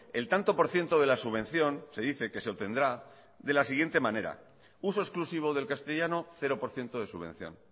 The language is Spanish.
el tanto por ciento de la subvención se dice que se obtendrá de la siguiente manera uso exclusivo del castellano cero por ciento de subvención